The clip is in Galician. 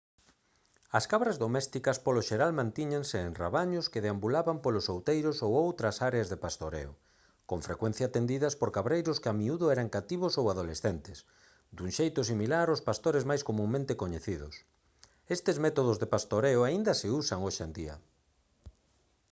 as cabras domésticas polo xeral mantíñanse en rabaños que deambulaban polos outeiros ou outras áreas de pastoreo con frecuencia atendidas por cabreiros que a miúdo eran cativos ou adolescentes dun xeito similar aos pastores máis comunmente coñecidos estes métodos de pastoreo aínda se usan hoxe en día